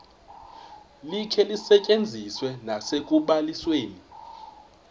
likhe lisetyenziswe nasekubalisweni